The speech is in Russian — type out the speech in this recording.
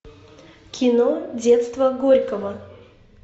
кино детство горького